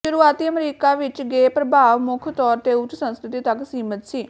ਸ਼ੁਰੂਆਤੀ ਅਮਰੀਕਾ ਵਿੱਚ ਗੇ ਪ੍ਰਭਾਵ ਮੁੱਖ ਤੌਰ ਤੇ ਉੱਚ ਸੰਸਕ੍ਰਿਤੀ ਤੱਕ ਸੀਮਿਤ ਸੀ